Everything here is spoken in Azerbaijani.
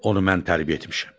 Onu mən tərbiyə etmişəm.